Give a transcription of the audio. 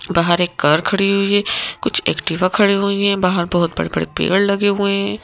बाहर एक कर खड़ी हुई है कुछ एक्टिवा खड़ी हुई हैं बाहर बहुत बड़े-बड़े पेड़ लगे हुए हैं।